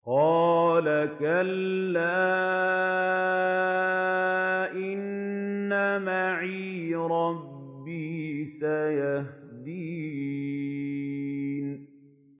قَالَ كَلَّا ۖ إِنَّ مَعِيَ رَبِّي سَيَهْدِينِ